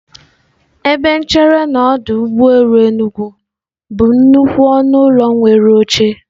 Ebe nchere na n'ọdọ ụgbọelu Enugwu bụ nnukwu ọnụ ụlọ nwere oche.